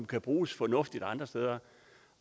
kan bruges fornuftigt andre steder